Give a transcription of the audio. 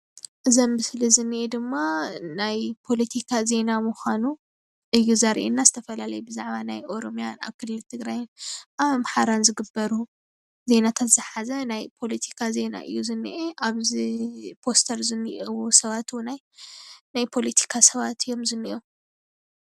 እዚ አብ ምስሊ ዝኒአ ድማ ናይ ፖለቲካ ዜና ምኳኑ እዩ ዘርእየና ዝተፈላለዩ ብዛዕባ ናይ ኦሮምያ አብ ክልል ትግራይን አብ አምሓራን ዝግበሩ ዜናታት ዝሓዘ ናይ ፖለቲካ ዜና እዩ ዝኒአ። አብዚ ፖስተር ዝኒአው ሰባት እውናይ ናይ ፖለቲካ ሰባት እዮም ዝኒሀው።